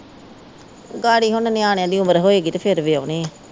ਗਾੜੀ ਹੁਣ ਨਿਆਣਿਆਂ ਦੀ ਉਮਰ ਹੋਏਗੀ ਤੇ ਫਿਰ ਵਿਆਹੁਨੇ ਆ।